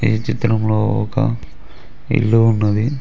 ఈ చిత్రంలో ఒక ఇల్లు ఉన్నది.